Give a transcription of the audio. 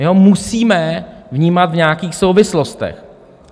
My ho musíme vnímat v nějakých souvislostech.